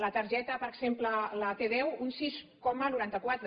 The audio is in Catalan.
la targeta per exemple la t·deu un sis coma noranta quatre